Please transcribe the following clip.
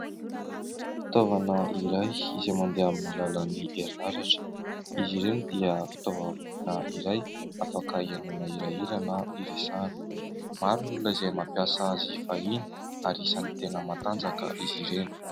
Fitaovana iray izay mandeha amin'ny alalan'ny herinaratra. Izy ireny dia fitaovana iray afaka ihainoana hirahira na iresahana. Maro ny olona izay mampiasa azy fahiny ary isany tena matanjaka izy ireny.